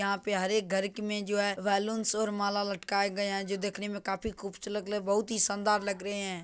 यहां पे हरेक घर के मे जो है बैलूंस और माला लटकाए गए है जो देखने मे काफी खुबसूरत लग रहे बहुत ही शानदार लग रहे है।